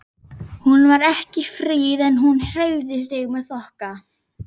Hún var ekki fríð en hún hreyfði sig með þokka.